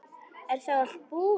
Er þá allt búið?